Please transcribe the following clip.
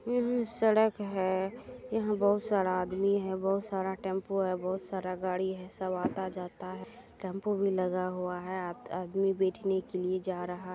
यह सड़क है यहाँ बहुत सारा आदमी है बहुत सारा टेम्पू है बहुत सारा गाड़ी है सब आता जाता है टेम्पू भी लगा हुआ है आदमी बैठने के लिए जा रहा ----